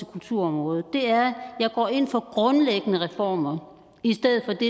kulturområdet er at jeg går ind for grundlæggende reformer i stedet for det